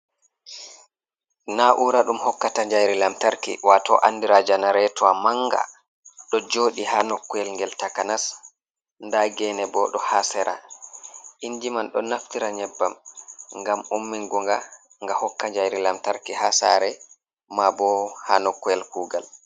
Na'ura ɗum hokkata jayri lantarki wato andira janaretua manga ɗo joɗi ha nokuwel ngel takanas nda gene bo ɗo ha sera inji man ɗo naftira nyebbam ngam ummingunga nga hokka jayri lamtarki ha sare ma bo ha nokuwel kugal.